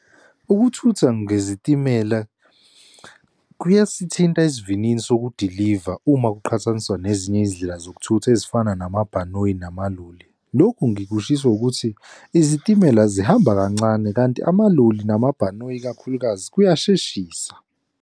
Ukuthutha ngezitimela kuyasithinta esivinini sokudiliva uma kuqhathaniswa nezinye izindlela zokuthutha ezifana namabhanoyi namaloli. Lokhu ngikushiso ukuthi izitimela zihamba kancane kanti amaloli namabhanoyi ikakhulukazi kuyasheshisa.